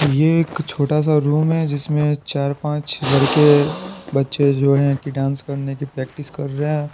ये एक छोटा सा रूम है जिसमें चार पांच लड़के बच्चे जो है कि डांस करने की प्रैक्टिस कर रहे हैं।